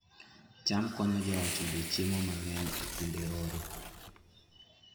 cham konyo joot yudo chiemo mang'eny e kinde oro